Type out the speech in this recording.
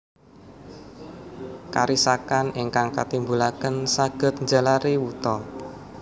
Karisakan ingkang katimbulaken saged njalari wuta